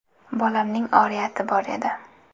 Bolamning oriyati bor edi.